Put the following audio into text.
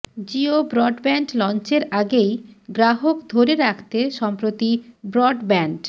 Jio broadband লঞ্চের আগেই গ্রাহক ধরে রাখতে সম্প্রতি ব্রডব্যান্ড